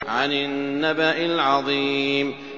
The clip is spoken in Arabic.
عَنِ النَّبَإِ الْعَظِيمِ